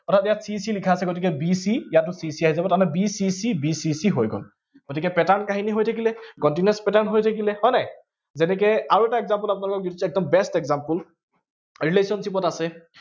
অৰ্থাৎ ইয়াত c c লিখা আছে, গতিকে b c ইয়াতো c c আহি যাব। তাৰমানে b c c, b c c হৈ গল, গতিকে pattern কাহনী হৈ থাকিলে, continuous pattern হয় নাই, আৰু এটা example আপোনালোকক দিছো, একদম best example relationship ত আছে